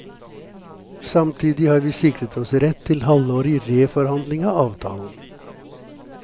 Samtidig har vi sikret oss rett til halvårig reforhandling av avtalen.